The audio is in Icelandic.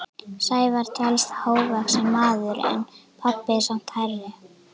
Sævar telst hávaxinn maður en pabbi er samt hærri.